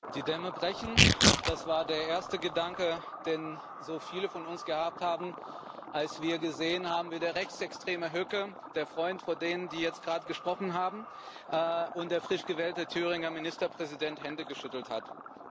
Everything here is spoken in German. Die Dämme brechen das war der erste Gedanke, den so viele von uns gehabt haben, als wir gesehen haben, wie der Rechtsextreme Höcke, der Freund von denen, die jetzt gerade gesprochen haben, und der frisch gewählte Thüringer Ministerpräsident Hände geschüttelt haben.